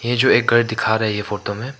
ये जो एक घर दिखा रही है फोटो में।